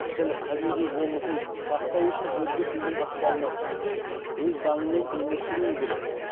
тіл табиғи болмысын сақтау үшін өзге тілдің ықпалына түспей өз заңымен өмір сүруі керек